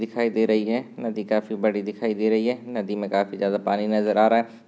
दिखाई दे रही है नदी काफी बड़ी दिखाई दे रही है नदी मे काफी ज्यादा पानी नजर आ रहा है।